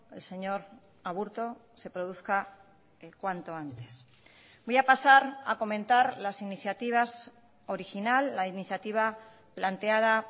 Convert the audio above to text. el señor aburto se produzca cuanto antes voy a pasar a comentar las iniciativas original la iniciativa planteada